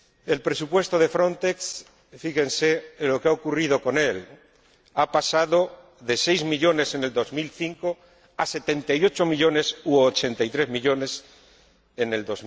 El presupuesto de Frontex fíjense lo que ha ocurrido con él, ha pasado de seis millones en el 2005 a 78 millones u 83 millones en el